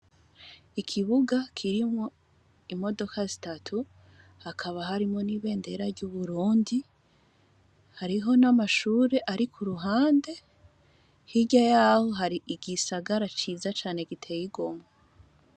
Ikibuga kirimwo imodoka zitatu hakaba harimwo nibendera ryuburundi hariho namashure ari kuhande hirya yaho hari igisagara ciza cane giteye igomwe